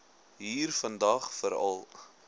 hier vandag veral